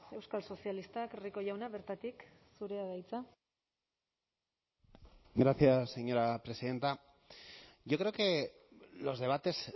euskal sozialistak rico jauna bertatik zurea da hitza gracias señora presidenta yo creo que los debates